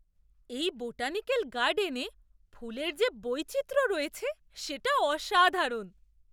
এই বোটানিক্যাল গার্ডেনে ফুলের যে বৈচিত্র্য রয়েছে সেটা অসাধারণ!